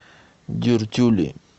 дюртюли